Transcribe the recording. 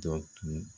Jɔ tun